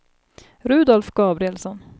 Rudolf Gabrielsson